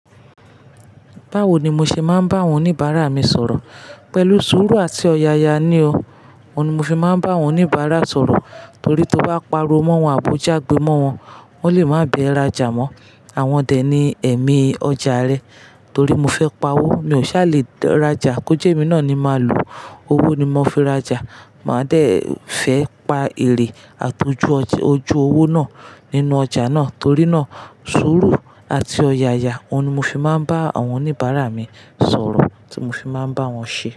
Báwo ni mo ṣe máa ń bá àwọn oníbàárà mi sọ̀rọ̀? Pẹ̀lú sùúrù àti ọ̀yàyà ni o. Òun ni mo fi máa ń bá àwọn oníbàárà sọ̀rọ̀ torí tí o bá pariwo mọ́ wọn, àbòjá gbé mọ́ wọn, wọ́n lè máa bẹ ẹ rajà mọ́. Àwọn dè ní ẹ̀mí ọjà rẹ torí mo fẹ́ pa owó, mi ò sá lè rajà. Kò jẹ́ mi náà ni máa lò, owó ni mo fi rajà. Màá dé fẹ́ pa èrè àti ojú owó náà nínú ọjà náà torí náà sùúrù àti ọ̀yàyà, òun ni mo fi máa ń bá àwọn oníbàárà mi sọ̀rọ̀ tí mo fi máa ń bá wọn ṣe.